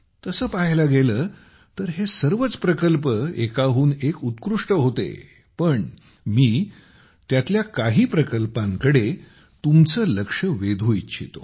तसे पाहायला गेले तर हे सर्वच प्रकल्प एकाहून एक उत्कृष्ट होते पण मी त्यातील काही प्रकल्पांकडे तुमचे लक्ष वेधून इच्छितो